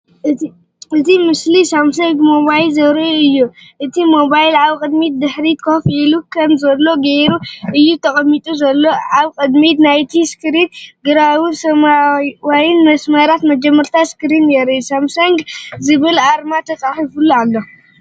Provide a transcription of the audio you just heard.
እቲ ስእሊ ሳምሰንግ ሞባይል ዘርኢ እዩ። እቲ ሞባይል ኣብ ቅድሚትን ድሕሪትን ኮፍ ኢሉ ከም ዘሎ ጌሩ እዩ ተቐሚጡ ዘሎ። ኣብ ቅድሚት ናይቲ ስክሪን ግራውን ሰማያውን መስመራት መጀመርታ ስክሪን የርኢ። “ሳምሰንግ” ዝብል ኣርማ ተጻሒፉሉ ኣሎ።